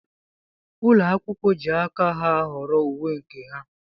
Ụlọ akwụkwọ jị aka ha ahọrọ uwe nke ha.